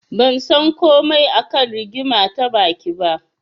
Ban san komai a kan rigima ta baki ba.